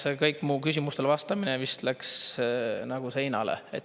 See kõik mu küsimustele vastamine vist läks nagu seinale.